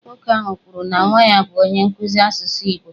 Nwoke ahụ kwuru na nwa ya bụ onye nkụzi asụsụ Igbo.